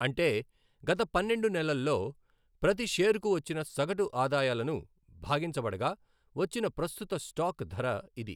అంటే, గత పన్నెండు నెలల్లో ప్రతి షేర్కు వచ్చిన సగటు ఆదాయాలను భాగించబడగా వచ్చిన ప్రస్తుత స్టాక్ ధర ఇది.